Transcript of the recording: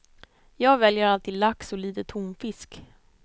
Jag väljer alltid lax och lite tonfisk.